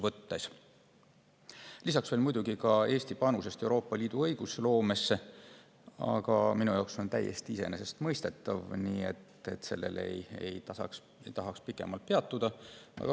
Lisaks muidugi Eesti panusest Euroopa Liidu õigusloomesse, aga minu jaoks on see täiesti iseenesestmõistetav, nii et sellel ei taha ma pikemalt peatuda.